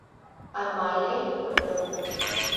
амалия федорова